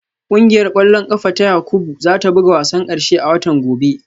Kungiyar kwallon kafa ta Yakubu za ta buga wasan karshe a watan gobe